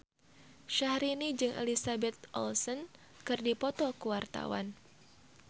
Syahrini jeung Elizabeth Olsen keur dipoto ku wartawan